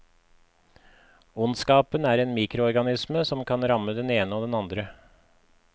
Ondskapen er en mikroorganisme som kan ramme den ene og den andre.